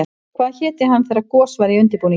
Hvað héti hann þegar gos væri í undirbúningi?